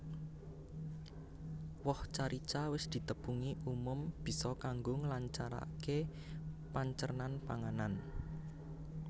Woh carica wis ditepungi umum bisa kanggo nglancaraké pancernan panganan